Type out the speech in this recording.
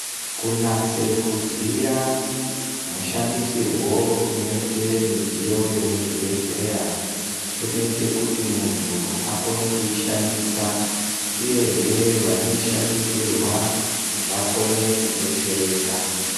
Kunatse kuziya mushandisirwo unoite midziyo yemuzvibhedhlera kunoite kuti muntu akone kuishandisa uyehe vanoishandisirwa vakone kubetsereka .